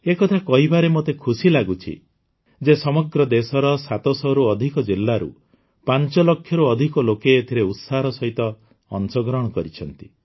ଏ କଥା କହିବାରେ ମୋତେ ଖୁସି ଲାଗୁଛି ଯେ ସମଗ୍ର ଦେଶର ୭୦୦ରୁ ଅଧିକ ଜିଲ୍ଲାରୁ ୫ ଲକ୍ଷରୁ ଅଧିକ ଲୋକେ ଏଥିରେ ଉତ୍ସାହର ସହିତ ଅଂଶଗ୍ରହଣ କରିଛନ୍ତି